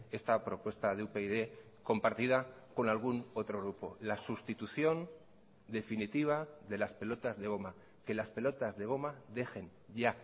esta propuesta de upyd compartida con algún otro grupo la sustitución definitiva de las pelotas de goma que las pelotas de goma dejen ya